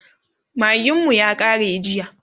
magin mu ya kare jiya